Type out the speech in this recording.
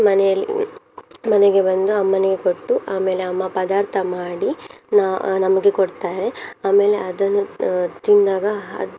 ಮನೆಯಲ್ಲಿ ಮನೆಗೆ ಬಂದು ಅಮ್ಮನಿಗೆ ಕೊಟ್ಟು ಆಮೇಲೆ ಅಮ್ಮ ಪದಾರ್ಥ ಮಾಡಿ ನಾ~ ನಮ್ಗೆ ಕೊಡ್ತಾರೆ ಆಮೇಲೆ ಅದನ್ನು ಅಹ್ ತಿಂದಾಗ ಅಹ್ ಅದರ.